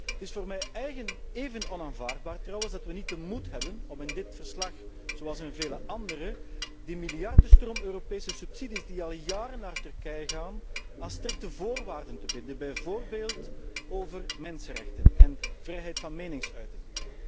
Het is voor mij trouwens even onaanvaardbaar dat we niet de moed hebben om in dit verslag, zoals in vele andere, de miljardenstroom Europese subsidies die al jaren naar Turkije gaan, aan strikte voorwaarden te binden, bijvoorbeeld over mensenrechten en vrijheid van meningsuiting.